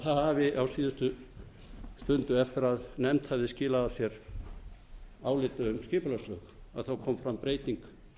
það hafi á síðustu stundu eftir að nefnd hafði skilað af sér áliti um skipulagslög kom fram breyting